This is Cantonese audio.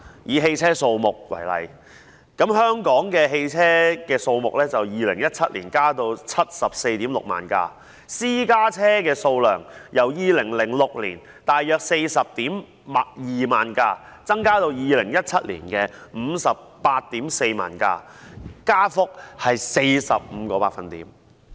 以汽車數目為例，香港的汽車數目在2017年增至 746,000 輛；私家車的數量由2006年約 402,000 輛，增至2017年的 584,000 輛，增幅是 45%。